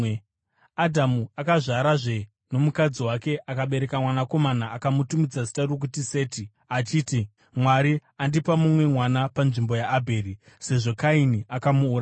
Adhamu akararazve nomukadzi wake, akabereka mwanakomana akamutumidza zita rokuti Seti, achiti, “Mwari andipa mumwe mwana panzvimbo yaAbheri, sezvo Kaini akamuuraya.”